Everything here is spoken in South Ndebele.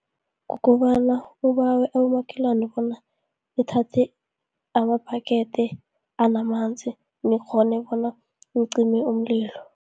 Kukobana ubawe abomakhelwane bona, uthathe amabhakede anamanzi nikghone bona nicime umlilo.